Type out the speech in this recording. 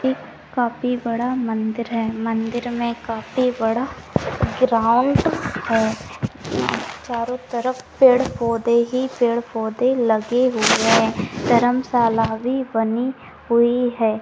एक काफी बड़ा मंदिर है मंदिर में काफी बड़ा ग्राउन्ड है यहाँ चारों तरफ पेड़-पौधे ही पेड़-पौधे लगे हुए है धर्मशाला भी बनी हुई--